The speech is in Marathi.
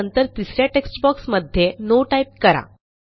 आणि नंतर तिस या टेक्स्ट बॉक्स मध्ये नो टाईप करा